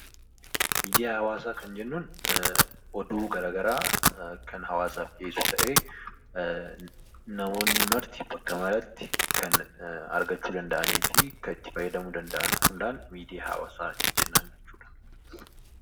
Miidiyaa hawaasaa kan jennuun oduu garagaraa kan hawaasaaf dhiyeessu ta'ee namoonni marti bakka maratti kan argachuu danda'anifi kan itti fayyadamuu danda'an hundaan miidiyaa hawaasaa jennaan jechuudha.